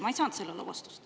Ma ei saanud sellele vastust.